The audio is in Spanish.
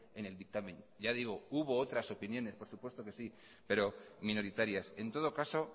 en el dictamen y ya digo que hubo otras opiniones por supuesto que sí pero minoritarias en todo caso